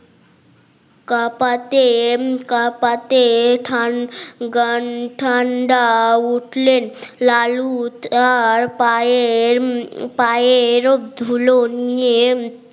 কাপাতে এম কাপাতে খান ঠান্ডা উঠলেন লালু তার পায়ে পায়ের ধুলো নিয়ে